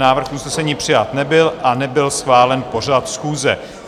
Návrh usnesení přijat nebyl a nebyl schválen pořad schůze.